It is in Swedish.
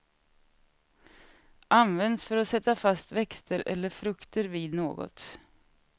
Används för att sätta fast växter eller frukter vid något.